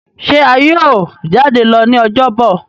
ṣe a yíò jade lọ ní Ọjọ́ Bọ̀?